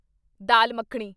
dal makhani